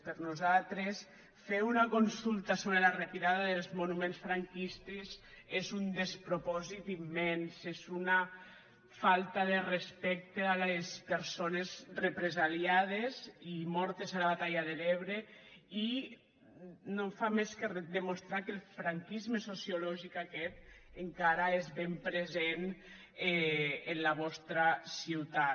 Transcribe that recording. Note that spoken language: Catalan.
per nosaltres fer una consulta sobre la retirada dels monuments franquistes és un despropòsit immens és una falta de respecte a les persones represaliades i mortes a la batalla de l’ebre i no fa més que demostrar que el franquisme sociològic aquest encara és ben present en la vostra ciutat